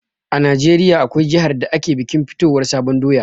A najeriya, akwai jihar da ake bikin fitowar sabon doya